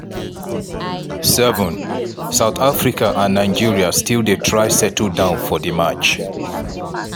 7' south africa and nigeria still dey try settle down for di match.